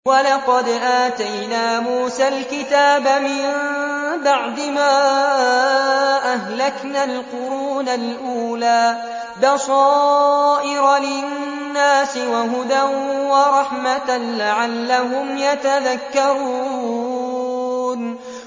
وَلَقَدْ آتَيْنَا مُوسَى الْكِتَابَ مِن بَعْدِ مَا أَهْلَكْنَا الْقُرُونَ الْأُولَىٰ بَصَائِرَ لِلنَّاسِ وَهُدًى وَرَحْمَةً لَّعَلَّهُمْ يَتَذَكَّرُونَ